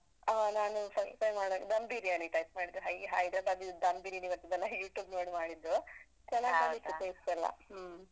ಆ ನಾನು first time ಮಾಡ್ದಾಗ್ dam biriyani type ಮಾಡಿದ್ದು ಈ hyderabadi dam biriyani ಬರ್ತದಲ್ಲ, ಈ YouTube ter ನೋಡಿ ಮಾಡಿದ್ದು. ಬಂದಿತ್ತು. taste ಎಲ್ಲ. ಹ್ಮ.